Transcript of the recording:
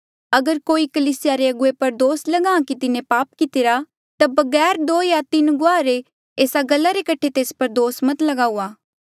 अगर कोई कलीसिया रे अगुवे पर दोस लगा कि तिन्हें पाप कितिरा ता बगैर दो या तीन गुआहा रे एस्सा गल्ला रे कठे तेस पर दोस मत लगाऊआ